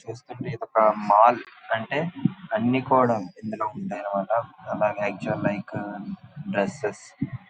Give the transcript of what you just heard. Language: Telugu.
చుస్తుటే ఇది ఒక మాల్ . అంటే అన్ని కూడా ఇదిలో ఉంటాయి అనమాట హ్మ్ లైక్ కు డ్రెస్సెస్ --